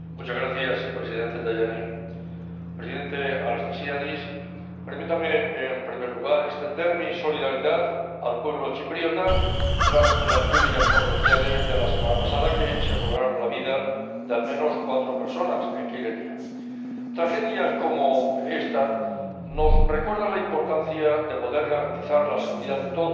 Señor presidente, presidente Anastasiades, permítame, en primer lugar, transmitir mi solidaridad al pueblo chipriota tras las lluvias torrenciales de la semana pasada que se cobraron la vida de al menos cuatro personas en Kyrenia. Tragedias como esta nos recuerdan la importancia de poder garantizar la seguridad de todos